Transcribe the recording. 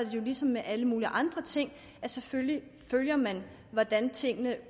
jo ligesom med alle mulige andre ting at selvfølgelig følger man hvordan tingene